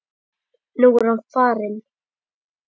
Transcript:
Nú er hann farinn.